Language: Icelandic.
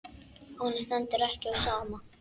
Honum stendur ekki á sama.